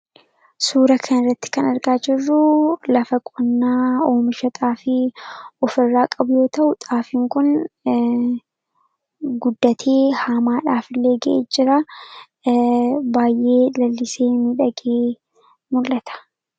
Suura kana irratti kan argaa jirru, lafa qonnaa oomisha xaafii ofirraa qabu yoo ta'u. Xaafiin Kun guddatee haamaadhaaf illee gahee jira baayyee, lalisee, miidhagee mul'ata.